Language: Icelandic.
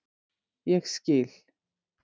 Ég skil.